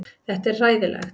Þetta er hræðilegt